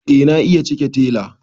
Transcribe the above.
eh na iya cike tela